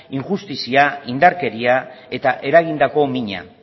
injustizia indarkeria eta eragindako mina